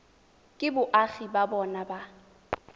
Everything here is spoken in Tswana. ke boagi ba bona ba